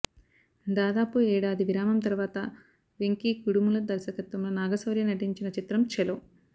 దాదాపు ఏడాది విరామం తర్వాత వెంకీ కుడుముల దర్శకత్వంలో నాగశౌర్య నటించిన చిత్రం ఛలో